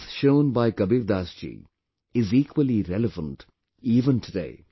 The path shown by Kabirdas ji is equally relevant even today